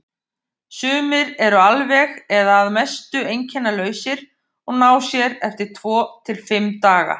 Sumir eru alveg eða að mestu einkennalausir og ná sér eftir tvo til fimm daga.